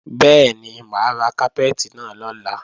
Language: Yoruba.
Bẹ́ẹ̀ni, mà á ra kápẹ́ẹ̀tì náà lọ́la